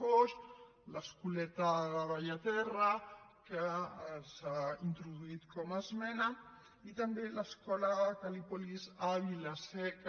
foix l’escoleta de bellaterra que s’ha introduït com a esmena i també l’escola cal·lípolis a vila seca